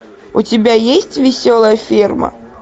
у тебя есть веселая ферма